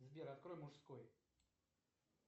сбер открой мужской